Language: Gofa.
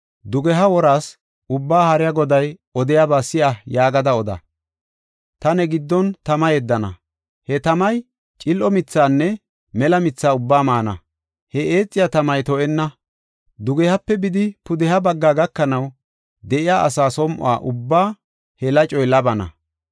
Dugeha woraas, Ubbaa Haariya Goday odiyaba si7a yaagada oda. ‘Ta ne giddon tama yeddana; he tamay cil7o mithaanne mela mithaa ubbaa maana. He eexiya tamay to7enna; dugehape bidi, pudeha bagga gakanaw de7iya asa som7o ubbaa he lacoy labana.